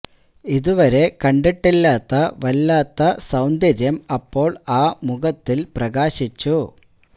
ഇത് വരെ കണ്ടീട്ടില്ലാത്ത വല്ലാത്ത സൌന്തര്യം അപ്പോൾ ആ മുഖത്തിൽ പ്രകാശിച്ചു